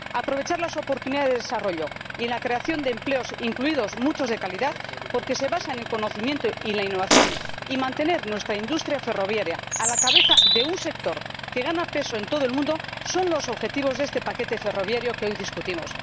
aprovechar las oportunidades de desarrollo y la creación de empleos, incluidos muchos de calidad —porque se basan en conocimiento y en la innovación— y mantener nuestra industria ferroviaria a la cabeza de un sector que gana peso en todo el mundo son los objetivos de este paquete ferroviario que hoy discutimos.